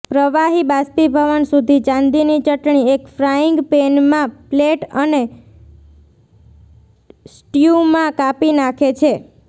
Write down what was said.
પ્રવાહી બાષ્પીભવન સુધી ચાંદીની ચટણી એક ફ્રાઈંગ પેનમાં પ્લેટ અને સ્ટયૂમાં કાપી નાંખે છે